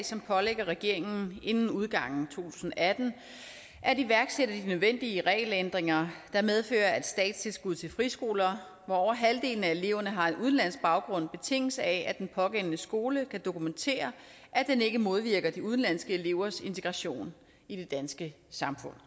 som pålægger regeringen inden udgangen tusind og atten at iværksætte de nødvendige regelændringer der medfører at statstilskud til friskoler hvor over halvdelen af eleverne har en udenlandsk baggrund betinges af at den pågældende skole kan dokumentere at den ikke modvirker de udenlandske elevers integration i det danske samfund